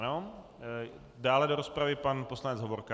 Ano, dále do rozpravy pan poslanec Hovorka.